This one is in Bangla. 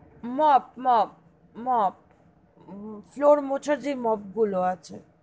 Mop mop mop floor মোছার জে mop গুলো আছে,